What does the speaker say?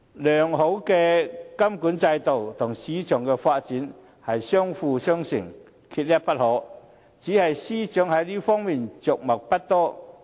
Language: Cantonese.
良好的監管制度和市場的發展相輔相成，缺一不可，只是司長在這方面着墨不多。